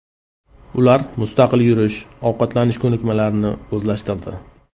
Ular mustaqil yurish, ovqatlanish ko‘nikmalarini o‘zlashtirdi.